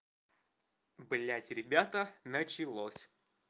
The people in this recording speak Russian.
блядь ребята началось